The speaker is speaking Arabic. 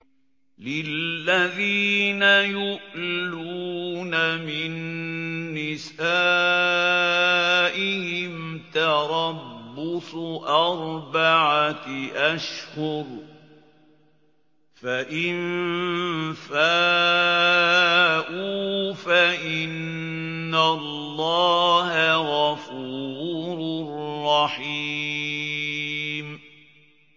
لِّلَّذِينَ يُؤْلُونَ مِن نِّسَائِهِمْ تَرَبُّصُ أَرْبَعَةِ أَشْهُرٍ ۖ فَإِن فَاءُوا فَإِنَّ اللَّهَ غَفُورٌ رَّحِيمٌ